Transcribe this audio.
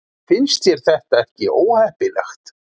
Finnst þér þetta ekki óheppilegt?